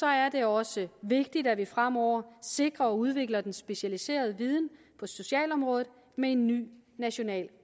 er det også vigtigt at vi fremover sikrer og udvikler den specialiserede viden på socialområdet med en ny national